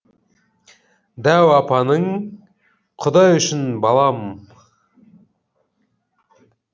дәу апаның құдай үшін балам